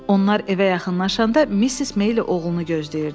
Onlar evə yaxınlaşanda Missis Maylie oğlunu gözləyirdi.